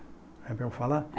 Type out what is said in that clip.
É para eu falar?